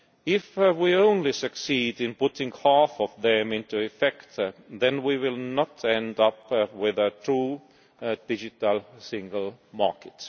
If we only succeed in putting half of them into effect, then we will not end up with a true Digital Single Market.